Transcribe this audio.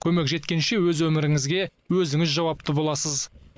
көмек жеткенше өз өміріңізге өзіңіз жауапты боласыз